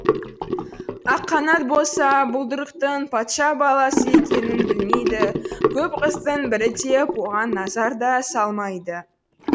аққанат болса бұлдырықтың патша баласы екенін білмейді көп құстың бірі деп оған назар да салмайды